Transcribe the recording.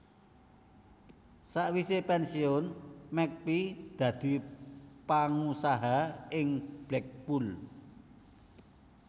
Sawisé pènsiyun McPhee dadi pangusaha ing Blackpool